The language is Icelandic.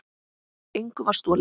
Engu var stolið.